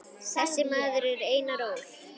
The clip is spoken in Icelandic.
Þessi maður er Einar Ól.